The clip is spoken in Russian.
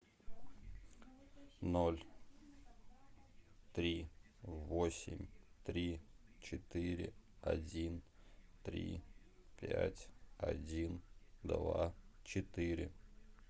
ноль три восемь три четыре один три пять один два четыре